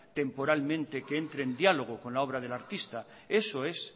temporalmente que entren en diálogo con la obra del artista eso es